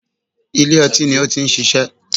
Ilé ọtín ni ó ti ń ṣiṣẹ́